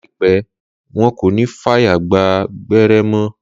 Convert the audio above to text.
Láìpẹ́, wọn kò ní fàyè gba gbẹ́rẹ́ mọ́